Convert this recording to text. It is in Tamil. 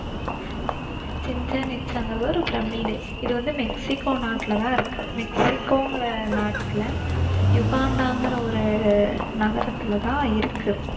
சிச்சென் இட்சாங்கிறது ஒரு பிரமிடு. இது வந்து மெக்சிகோ நாட்டுல தான் இருக்கு. மெக்சிகோங்கிற நாட்டுல யுகட்டான்கிற ஒரு நகரத்துல தான் இருக்கு.